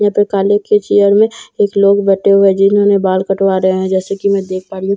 यहाँ पे काले के चेयर में एक लोग बैठे हुए हैं जिन्होंने बाल कटवा रहे हैं जैसे की मैं देख पा रही हूँ।